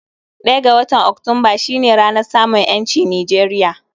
Ɗaya ga watan Oktumba shi ne ranar samun 'yanci Nijeriya